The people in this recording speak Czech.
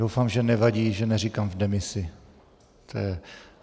Doufám, že nevadí, že neříkám v demisi.